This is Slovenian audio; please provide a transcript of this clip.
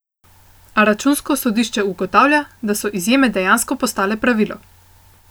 A Računsko sodišče ugotavlja, da so izjeme dejansko postale pravilo.